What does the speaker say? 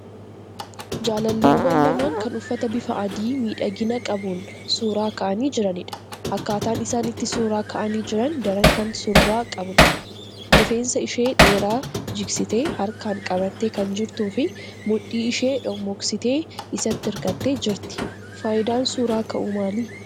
Jaalalleewwan lamaan kan uffata bifa adii miidhagina qabuun suuraa ka'anii jiranidha. Akkaataan isaan itti suuraa ka'anii jiran daran kan surraa qabudha. Rifeensa ishee dheeraa jigsitee harkaan qabattee kan jirtuu fi mudhii ishee dhommooksitee isatti hirkattee jirti. Faayidaan suuraa ka'uu maali?